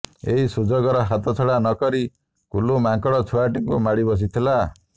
ଏହି ସୁଯୋଗର ହାତଛଡ଼ା ନକରି କୁଲୁ ମାଙ୍କଡ଼ ଛୁଆଟିକୁ ମାଡ଼ି ବସିଥିଲା